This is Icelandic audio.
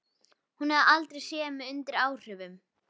Hún hefur aldrei séð mig undir áhrifum.